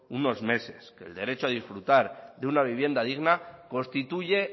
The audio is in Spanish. unos meses el derecho a disfrutar una vivienda digna constituye